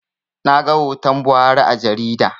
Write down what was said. Naga hoton Buhari a jarida